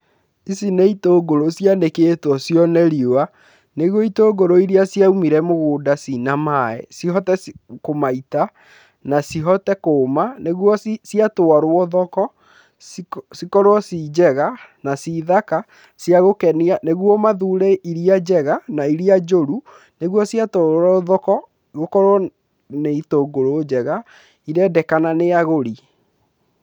Ici nĩ itũngũrũ cianĩkĩtwo cione riũa, nĩguo itũngũrũ iria cioumire mũgũnda ciĩna maĩ cihote kũmaita na cihote kũma nĩguo ciatwarwo thoko cikorwo ci njega na ci thaka cia gũkenia, nĩguo mathure iria njega na iria njũru nĩguo ciatwarwo thoko, gũkorwo nĩ itũngũrũ njega irendekana nĩ agũri.